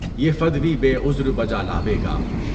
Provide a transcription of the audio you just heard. یہ فدوی بے عذر بجالاے گا۔